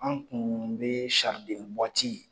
An kun be